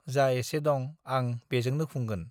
जा एसे दं आं बेजोंनो खुंगोन।